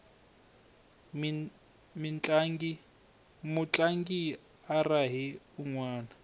mutlangi u rahe unwana